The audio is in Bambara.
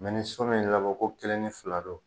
ni so mi labɔ ko kelen ni fila don.